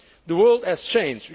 error. The world has changed.